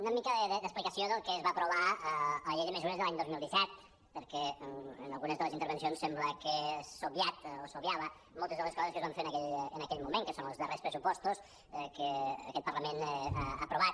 una mica d’ex·plicació del que es va aprovar a la llei de mesures de l’any dos mil disset perquè en algunes de les intervencions sembla que s’han obviat o s’obviaven moltes de les coses que es van fer en aquell moment que són els darrers pressupostos que aquest parlament ha aprovat